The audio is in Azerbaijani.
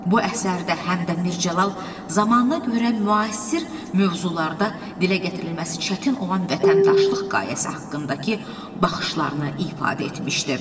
Bu əsərdə həm də Mircəlal zamanına görə müasir mövzularda dilə gətirilməsi çətin olan vətəndaşlıq qayaəsi haqqındakı baxışlarını ifadə etmişdi.